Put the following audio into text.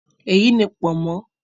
Èyí ni “pọ̀nmọ́"